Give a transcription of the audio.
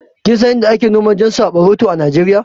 Kinsan Inda ake noma jan saɓaroto a Nijeriya?